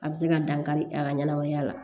A bɛ se ka dankari a ka ɲɛnamaya la